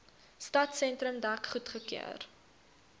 stadsentrum dek goedgekeur